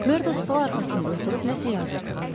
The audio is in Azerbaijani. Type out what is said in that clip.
MakMerdo stol arxasında oturub nəsə yazırdı.